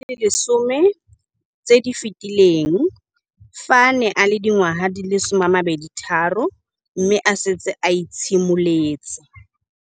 Dingwaga di le 10 tse di fetileng, fa a ne a le dingwaga di le 23 mme a setse a itshimoletse